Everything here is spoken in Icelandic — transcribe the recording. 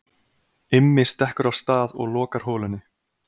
Immi stekkur af stað og lokar holunni.